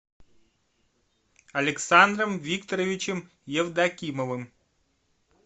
александром викторовичем евдокимовым